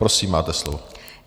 Prosím, máte slovo.